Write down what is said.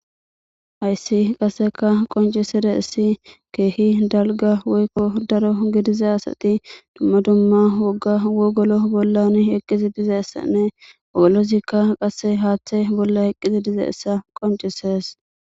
Hayssi qasi qoncisizay kehi dalgawoyko daro gidida asati dumma dumma woga wogolo bola eqidi dizaysa molozika qasse hatha bola eqidi dizayssa qoncises.